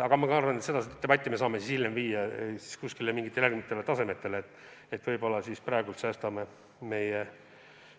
Aga ma arvan, et seda debatti me saame hiljem pidada mingil muul tasandil, võib-olla praegu säästame meie